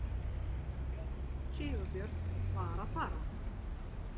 Sigurbjörn var að fara.